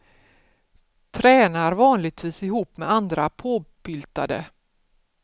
Tränar vanligtvis ihop med andra påbyltade.